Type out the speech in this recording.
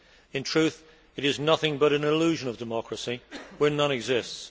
In truth, it is nothing but an illusion of democracy where none exists.